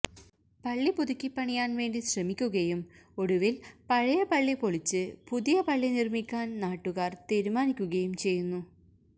പള്ളി പുതുക്കി പണിയാൻ വേണ്ടി ശ്രമിക്കുകയും ഒടുവിൽ പഴയ പള്ളി പൊളിച്ചു പുതിയ പള്ളി നിർമിക്കാൻ നാട്ടുകാർ തീരുമാനിക്കുകയും ചെയ്യുന്നു